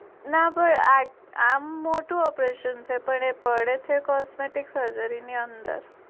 ના પણ આ આમ મોટું operation છે પણ પડે છે costume surgery ની અંદર